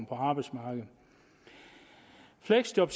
på arbejdsmarkedet fleksjob